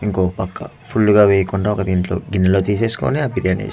ఇంకో పక్క ఫుల్లు గా వేయకుండా ఒక దీంట్లో గిన్నెలో తీసేసుకొని ఆ బిర్యాని --